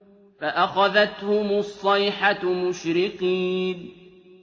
فَأَخَذَتْهُمُ الصَّيْحَةُ مُشْرِقِينَ